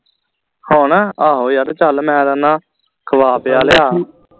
ਹੁਣ ਆਹੋ ਯਾਰ ਚਲ ਮੈਂ ਕਹਿੰਦਾ ਖਵਾ ਪਿਆ ਲਿਆ